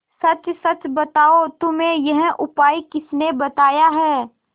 सच सच बताओ तुम्हें यह उपाय किसने बताया है